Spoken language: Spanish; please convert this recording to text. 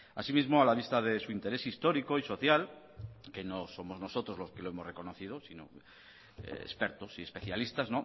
asimismo a la vista de su interés histórico y social que no somos nosotros los que lo hemos reconocido sino expertos y especialistas